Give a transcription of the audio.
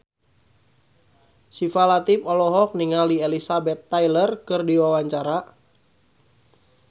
Syifa Latief olohok ningali Elizabeth Taylor keur diwawancara